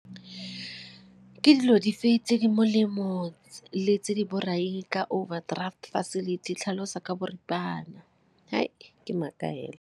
Ke dilo dife tse di molemo le tse di borai ka overdraft facility, tlhalosa ka boripana? Ke maaka fela.